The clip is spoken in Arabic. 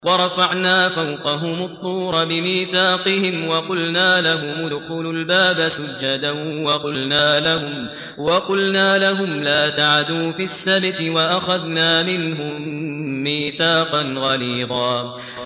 وَرَفَعْنَا فَوْقَهُمُ الطُّورَ بِمِيثَاقِهِمْ وَقُلْنَا لَهُمُ ادْخُلُوا الْبَابَ سُجَّدًا وَقُلْنَا لَهُمْ لَا تَعْدُوا فِي السَّبْتِ وَأَخَذْنَا مِنْهُم مِّيثَاقًا غَلِيظًا